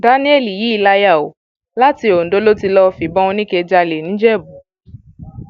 daniel yìí láyà o láti ondo ló ti lọọ fi ìbọn oníke jálẹ nìjẹbù